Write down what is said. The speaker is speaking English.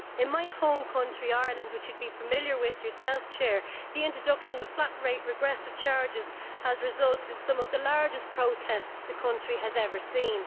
In my home country, Ireland, which you will be familiar with yourself, Madam President, the introduction of flat rate regressive charges has resulted in some of the largest protests the country has ever seen.